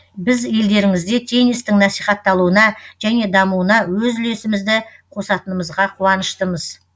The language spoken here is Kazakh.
біз елдеріңізде теннистің насихатталуына және дамуына өз үлесімізді қосатынымызға қуаныштымыз